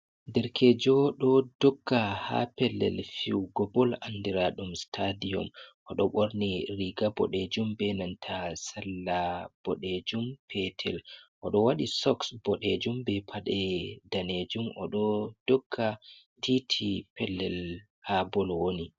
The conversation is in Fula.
Derkejo ɗo dogga ha pellel fijugo bol andiraɗum stadium. Oɗo ɓorni riga boɗejum be nanta salla boɗejum petel, odo waɗi soks boɗejum be paɗe danejum, oɗo dogga titi pellel ha bol woni.